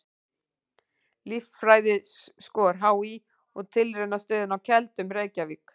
Líffræðiskor HÍ og Tilraunastöðin á Keldum, Reykjavík.